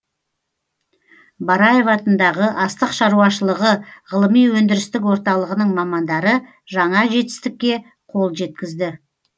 бараев атындағы астық шаруашылығы ғылыми өндірістік орталығының мамандары жаңа жетістікке қол жеткізді